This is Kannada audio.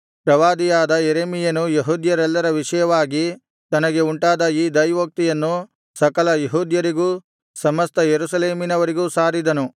ಪ್ರವಾದಿಯಾದ ಯೆರೆಮೀಯನು ಯೆಹೂದ್ಯರೆಲ್ಲರ ವಿಷಯವಾಗಿ ತನಗೆ ಉಂಟಾದ ಈ ದೈವೋಕ್ತಿಯನ್ನು ಸಕಲ ಯೆಹೂದ್ಯರಿಗೂ ಸಮಸ್ತ ಯೆರೂಸಲೇಮಿನವರಿಗೂ ಸಾರಿದನು